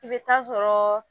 I bɛ taa sɔrɔɔ